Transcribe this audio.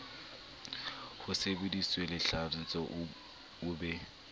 ho sebeditsweng lehlaso o be